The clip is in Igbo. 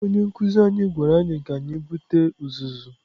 Onye nkụzi anyị gwara anyị ka anyị bute uzuzu.